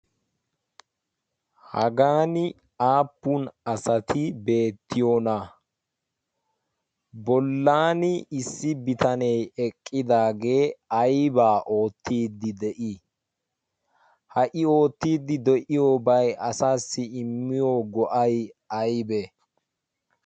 hagan aappun asati beettiyoona bollaan issi bitanee eqqidaagee aybaa oottiddi de'ii ha''i oottiddi de'iyoobai asaassi immiyo go'ay aibee